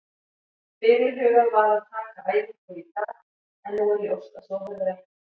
Fyrirhugað var að taka æfingu í dag en nú er ljóst að svo verður ekki.